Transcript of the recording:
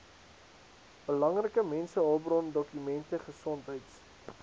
belangrike mensehulpbrondokumente gesondheids